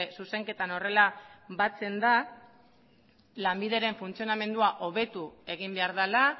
zuzenketan horrela batzen da lanbideren funtzionamendua hobetu egin behar dela